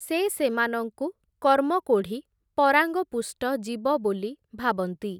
ସେ ସେମାନଙ୍କୁ କର୍ମକୋଢ଼ି, ପରାଙ୍ଗପୁଷ୍ଟ ଜୀବ ବୋଲି ଭାବନ୍ତି ।